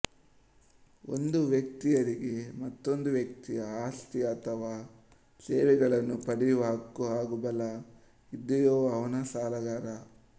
ಒಂದು ವ್ಯಕ್ತಿ ಯಾರಿಗೆ ಮೊತ್ತೊಂದು ವ್ಯಕ್ತಿಯ ಆಸ್ತಿ ಅಥವಾ ಸೇವೆಗಳನ್ನು ಪಡೆಯುವ ಹಕ್ಕು ಹಾಗು ಬಲ ಇದ್ದೆಯೊ ಅವನೆ ಸಾಲಗಾರ